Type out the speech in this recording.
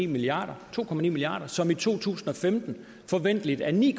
milliarder to milliarder som i to tusind og femten forventeligt er ni